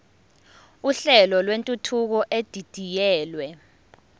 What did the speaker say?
uhlelo lwentuthuko edidiyelwe